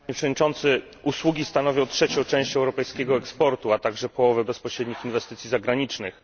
Panie Przewodniczący! Usługi stanowią trzecią część europejskiego eksportu, a także połowę bezpośrednich inwestycji zagranicznych.